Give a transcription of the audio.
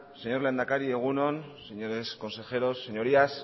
señor lehendakari egun on señores consejeros señorías